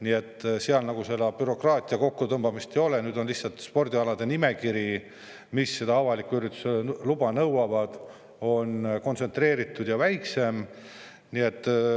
Nii et seal nagu bürokraatia kokkutõmbamist ei ole, lihtsalt spordialade nimekiri, mille puhul avaliku ürituse luba nõutakse, on kontsentreeritud ja lühem.